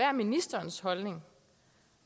er ministerens holdning